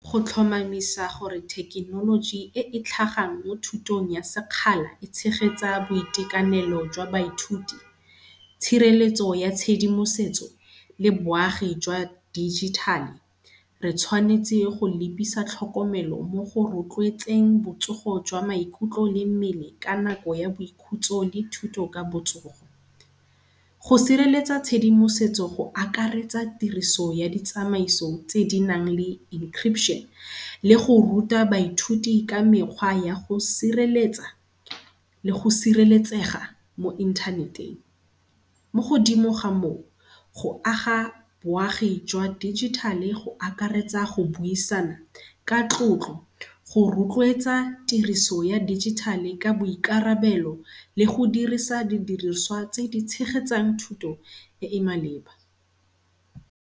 Go tlhomamisa gore thekenoloji e e tlhagang mo thutong ya sekgala e tshegetsa boitekanelo jwa baithuti, tshireletso ya tshedimosetso le boagi jwa digital-e. Re tshwanetse go lebisa tlhokomelo mo go rotloetseng bo tsogo jwa maikutlo le mmele ka nako ya boikhutso le thuto ka botsogo. Go sireletsa tshedimosetso go akaretsa tiriso ya ditsamaiso tse di nang le encryption le go ruta baithuti ka mekgwa ya go sireletsa le go sireletsega mo inthaneteng. Mo godimo ga moo go aga boagi jwa digital-e go akaretsa go buisana ka tlotlo, go rotloetsa tiriso ya digital ka boikarabelo le go dirisa di diriswa tse di tshegetsang thuto e e maleba.